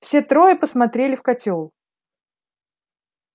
все трое посмотрели в котёл